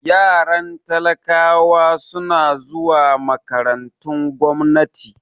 Yaran talakawa suna zuwa makarantun gwamnati